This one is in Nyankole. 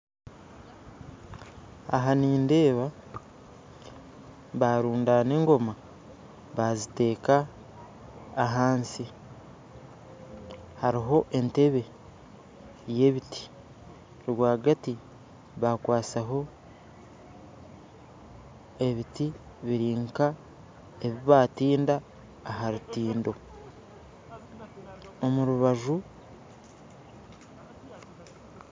Aha nindeeba barundana engooma baziteka ahansi hariho enteebe yebiti rwagati bakwasaho ebiti biri nka ebibatinda aharutindo, omurubajju.